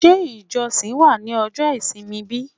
Ṣé ijosin wa ní ojo isimi bi?